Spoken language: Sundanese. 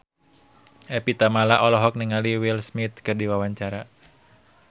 Evie Tamala olohok ningali Will Smith keur diwawancara